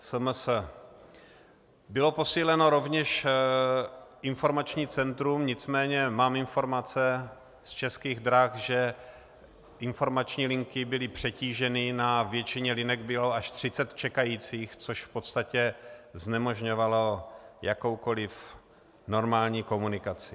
Bylo posíleno rovněž informační centrum, nicméně mám informace z Českých drah, že informační linky byly přetíženy, na většině linek bylo až 30 čekajících, což v podstatě znemožňovalo jakoukoliv normální komunikaci.